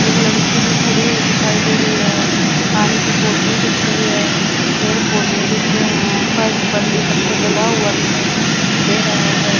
एक लड़की भी खड़ी हुई दिखाई दे रही है पानी की बोतल दिख रही है पेड़ पौधे दिख रहे हैं फर्श पर भी पत्थर डला हुआ दिखाई दे रहा है।